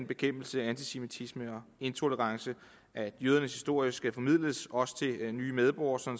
bekæmpelse af antisemitisme og intolerance at jødernes historie skal formidles også til nye medborgere så